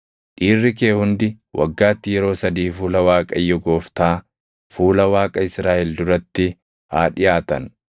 Dhiirri kee hundi waggaatti yeroo sadii fuula Waaqayyo Gooftaa, fuula Waaqa Israaʼel duratti haa dhiʼaatan.